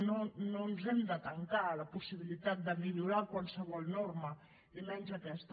no ens hem de tancar a la possibilitat de millorar qualsevol norma i menys aquesta